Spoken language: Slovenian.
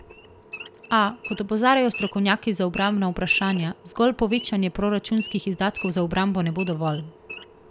A, kot opozarjajo strokovnjaki za obrambna vprašanja, zgolj povečanje proračunskih izdatkov za obrambo ne bo dovolj.